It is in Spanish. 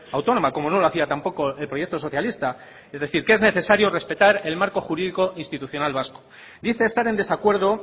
autónoma como no lo hacía tampoco el proyecto socialista es decir que es necesario respetar el marco jurídico institucional vasco dice estar en desacuerdo